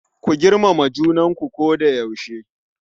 Ku girmama junanku a koda yaushe.